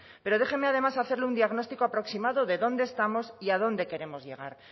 pero déjeme además hacerle un diagnóstico aproximado de dónde estamos y a dónde queremos llegar